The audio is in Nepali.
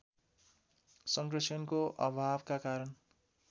संरक्षणको अभावका कारण